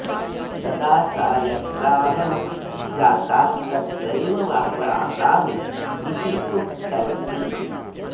तदा सा यत्राहं जाता तत्रैव वासामि इति उक्तवती